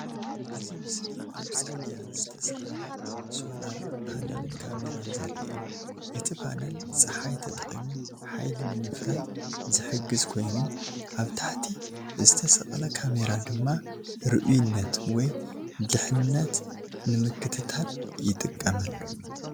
እዚ ምስሊ ኣብ ጽርግያ ዝተሰቕለ ሶላር ፓነልን ካሜራን ዘርኢ እዩ። እቲ ፓነል ጸሓይ ተጠቒሙ ሓይሊ ንምፍራይ ዝሕግዝ ኮይኑ፡ ኣብ ታሕቲ ዝተሰቕለ ካሜራ ድማ ርኡይነት ወይ ድሕነት ንምክትታል ይጥቀመሉ።